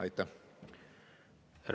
Aitäh!